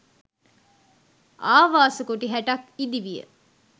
ආවාස කුටි 60 ක් ඉදි විය.